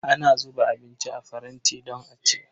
Ana zuba abinci a faranti don a ci.